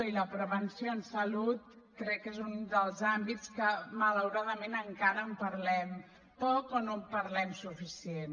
i la prevenció en salut crec que és un dels àmbits que malauradament encara en parlem poc o no en parlem suficient